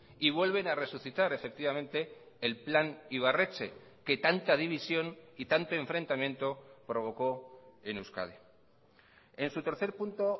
y vuelven a resucitar efectivamente el plan ibarretxe que tanta división y tanto enfrentamiento provocó en euskadi en su tercer punto